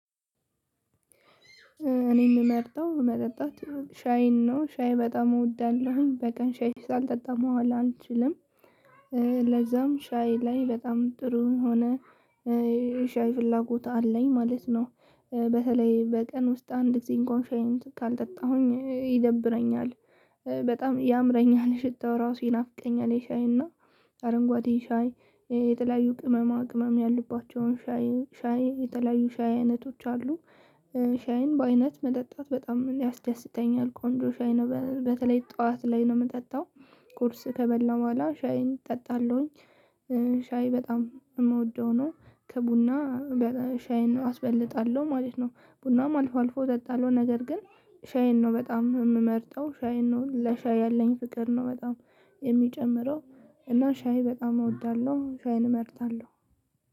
እኔ የምመርጠው መጠጣት ሻይን ነው ሻይ በጣም እወዳለሁ በቀን ሻይ ሳልጠጣ መዋል አልችልም። ለዛም ሻይ ላይ በጣም ጥሩ የሆኖ ሻይ ፍላጎት አለኝ ማለት ነው። በተለይ በቀን ውስጥ አንድ ጊዜ እንኳን ሻይን ካልጠጣሁኝ ይደብረኛል። በጣም ያምረኛል ሽታው ራሱ ይናፍቀኛል የሻይና አረንጓዴ ሻይ የተለያዩ ቅመማ ቅመም ያሉባቸውን ሻይ ሻይ የተለያዩ ሻይ አይነቶች አሉ። ሻይን በአይነት መጠጣት በጣም ያስደስተኛል ቆንጆ ሻይ ነው በተለይ ጠዋት ላይ ነው የምጠጣው። ቁርስ ከበላሁ በኋላ ሻይን እጠጣለሁኝ። ሻይ በጣም የምወደው ነው ከቡና ሻይን አስበልጣለሁ ማለት ነው። ቡናም አልፎ አልፎ እጠጣለሁ ነገር ግን። ሻይን ነው በጣም የምመርጠው ሻይን ነው ለሻይ ያለኝ ፍቅር ነው በጣም የሚጨምረው። እና ሻይ በጣም እወዳለሁ ሻይን እመርጣለሁ።